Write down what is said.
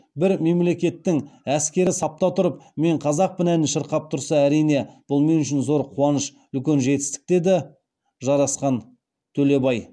бір мемлекеттің әскері сапта тұрып мен қазақпын әнін шырқап тұрса әрине бұл мен үшін зор қуаныш үлкен жетістік деді жарасқан төлебай